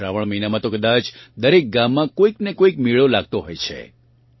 શ્રાવણ મહિનામાં તો કદાચ દરેક ગામમાં કોઇક ને કોઇક મેળો લાગતો હોય છે